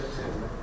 Xeyr, xeyr, xeyr.